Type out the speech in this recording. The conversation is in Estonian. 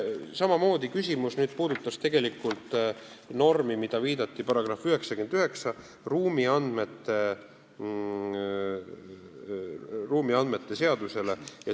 Samamoodi viide §-le 99, ruumiandmete seadusele.